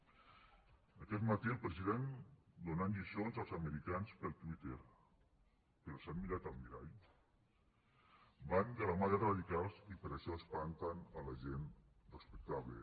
aquest matí el president donant lliçons als americans pel twitter però s’han mirat al mirall van de la mà dels radicals i per això espanten la gent respectable